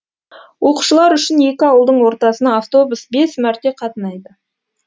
оқушылар үшін екі ауылдың ортасына автобус бес мәрте қатынайды